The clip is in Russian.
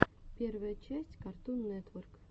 первая часть картун нетворк